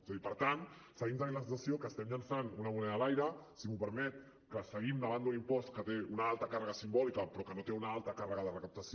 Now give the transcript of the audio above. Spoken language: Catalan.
és a dir per tant seguim tenint la sensació que estem llançant una moneda a l’aire si m’ho permet que seguim davant d’un impost que té una alta càrrega simbòlica però que no té una alta càrrega de recaptació